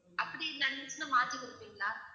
அப்படி நடந்துச்சுன்னா மாத்தி குடுப்பிங்களா?